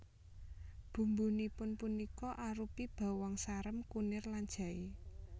Bumbunipun punika arupi bawang sarem kunir lan jaé